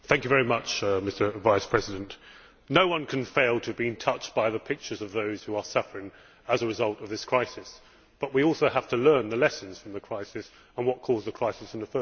Mr President, no one can fail to have been touched by the pictures of those who are suffering as a result of this crisis, but we also have to learn the lessons from the crisis and what caused the crisis in the first place.